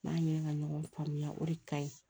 N'an ye ka ɲɔgɔn faamuya o de ka ɲi